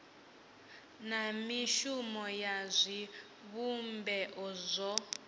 na mishumo ya zwivhumbeo zwo